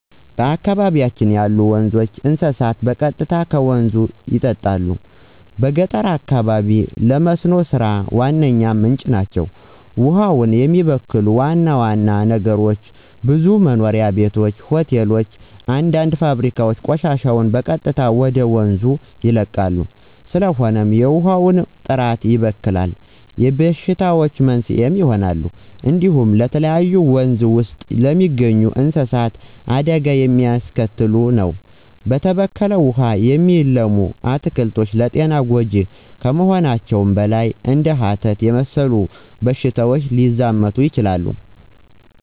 በአካባቢያችን ያሉ ወንዞች፣ እንስሳት በቀጥታ ከወንዞች ይጠጣሉ። በገጠር አካባቢዎች ለመስኖ ሥራ ዋነኛ ምንጭ ናቸው። ውሃውን የሚበክሉ ዋና ዋና ነገሮች ብዙ መኖሪያ ቤቶች፣ ሆቴሎች እና አንዳንድ ፋብሪካዎች ቆሻሻቸውን በቀጥታ ወደ ወንዞች ይለቃሉ። ስለሆነም የውሃውን ጥራት ይበክላሉ እና የበሽታዎች መንስኤ ይሆናሉ። እንዲሁም ለተለያዩ ወንዝ ውስጥ ለሚገኙ እንስሳት አደጋ የሚያስከትል ነው። በተበከለ ውሃ የሚለሙ አትክልቶች ለጤና ጎጅ ከመሆናቸውም በላይ እንደ ሀተት የመሰሉ በሽታዎች ሊያዛምቱ ይችላሉ።